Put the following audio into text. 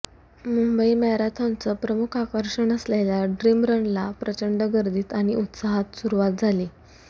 मुंबई मॅरेथॉनचं प्रमुख आकर्षण असलेल्या ड्रीम रनला प्रचंड गर्दीत आणि उत्साहात सुरवात झाली